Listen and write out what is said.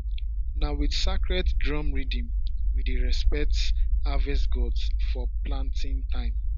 na with sacred drum rhythm we dey respect harvest gods for planting time